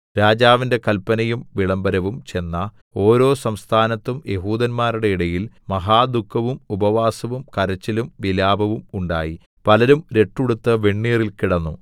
രാജാവിന്റെ കല്പനയും വിളംബരവും ചെന്ന ഓരോ സംസ്ഥാനത്തും യെഹൂദന്മാരുടെ ഇടയിൽ മഹാദുഃഖവും ഉപവാസവും കരച്ചിലും വിലാപവും ഉണ്ടായി പലരും രട്ടുടുത്ത് വെണ്ണീറിൽ കിടന്നു